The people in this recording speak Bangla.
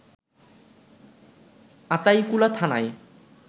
আতাইকুলা থানায়